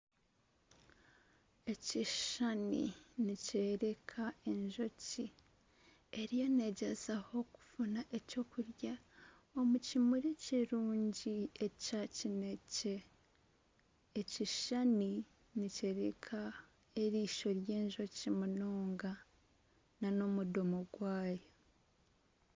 Ekishushani nikyereka enjoki eriyo negyezaho okufuna ekyokurya omu kimuri kirungi ekya kinekye. Ekishushani nikyereka erisho ry'enjoki munonga nana omudimo gwayo.